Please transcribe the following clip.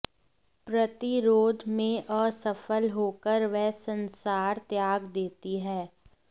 प्रतिरोध में असफल होकर वे संसार त्याग देती हैं